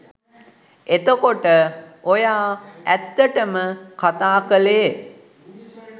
එතකොට ඔයා ඇත්තටම කතා කළේ